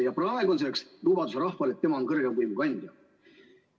Ja praegu on selleks lubaduseks rahvale see, et tema on kõrgeima võimu kandja.